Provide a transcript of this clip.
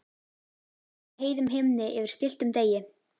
Sól á heiðum himni yfir stilltum degi.